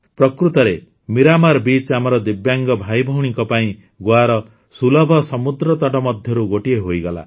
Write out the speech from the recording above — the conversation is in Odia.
ପ୍ରକୃତରେ ମିରାମାର୍ ବିଚ୍ ଆମର ଦିବ୍ୟାଙ୍ଗ ଭାଇଭଉଣୀଙ୍କ ପାଇଁ ଗୋଆର ସୁଲଭ ସମୁଦ୍ରତଟ ମଧ୍ୟରୁ ଗୋଟିଏ ହୋଇଗଲା